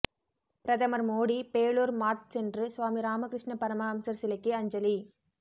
பிரதமர் மோடி பேலூர் மாத் சென்று சுவாமி ராமகிருஷ்ண பரமஹம்சர் சிலைக்கு அஞ்சலி